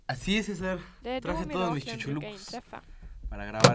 Det är då miraklen brukar inträffa.